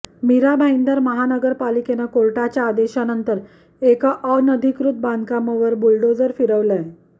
मीरा भाईंदर महापालिकेनं कोर्टाच्या आदेशानंतर एका अनधिकृत बांधकामावर बुलडोझर फिरवलाय